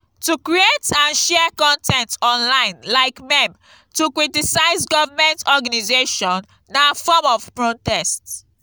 to create and share con ten t online like meme to critise government organisation na form of protest